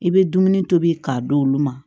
I bɛ dumuni tobi k'a d'olu ma